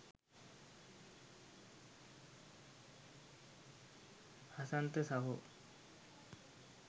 හසන්ත සහෝ